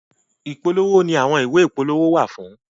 Ipolowo ni àwọn ìwé ìpolówó wà fún.